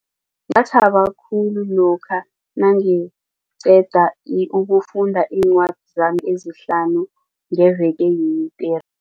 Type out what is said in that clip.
Ngathaba khulu lokha nangiqeda ukufunda iincwadi zami ezihlanu ngeveke yini tere.